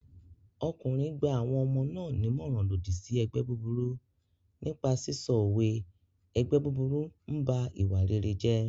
Ọkùnrin gba àwọn ọmọ náà nímọ̀ràn lòdì sí ẹgbẹ́ búburú nípa sísọ òwe "ẹgbẹ́ búburú m ba ìwà rere jẹ́"